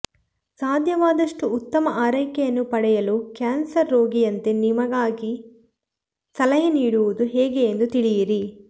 ಸಾಧ್ಯವಾದಷ್ಟು ಉತ್ತಮ ಆರೈಕೆಯನ್ನು ಪಡೆಯಲು ಕ್ಯಾನ್ಸರ್ ರೋಗಿಯಂತೆ ನಿಮಗಾಗಿ ಸಲಹೆ ನೀಡುವುದು ಹೇಗೆ ಎಂದು ತಿಳಿಯಿರಿ